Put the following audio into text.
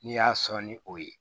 N'i y'a sɔn ni o ye